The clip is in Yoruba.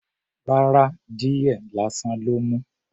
Rárá. Díẹ̀ lásán ló mu.